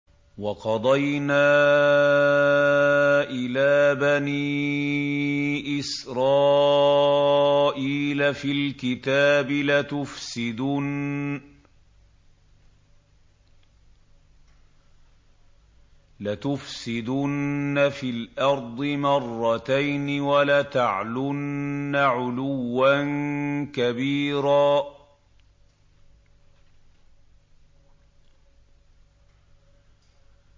وَقَضَيْنَا إِلَىٰ بَنِي إِسْرَائِيلَ فِي الْكِتَابِ لَتُفْسِدُنَّ فِي الْأَرْضِ مَرَّتَيْنِ وَلَتَعْلُنَّ عُلُوًّا كَبِيرًا